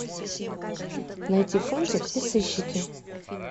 найти фунтик и сыщики